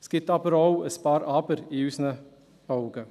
Es gibt in unseren Augen aber auch ein paar Aber.